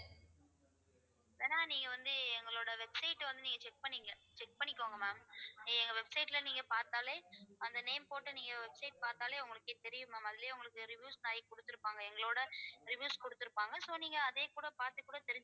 வேணா நீங்க வந்து எங்களோட website அ வந்து நீங்க check பண்ணிக்க~ check பண்ணிக்கோங்க ma'am எங்க website ல நீங்க பார்த்தாலே அந்த name போட்டு நீங்க website பாத்தாலே உங்களுக்கே தெரியும் ma'am அதிலேயே உங்களுக்கு reviews நிறைய கொடுத்திருப்பாங்க எங்களோட reviews கொடுத்திருப்பாங்க so நீங்க அதையே கூட பார்த்து கூட